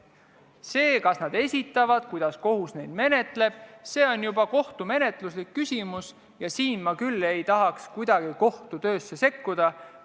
See, kas nad selle esitavad ja kuidas kohus seda menetleb, on juba kohtumenetluslik küsimus ja siin ei tahaks ma küll kuidagi kohtu töösse sekkuda.